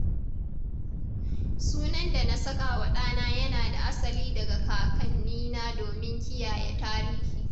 Sunan da na saka wa ɗana yana da asali daga kakannina domin kiyaye tarihi.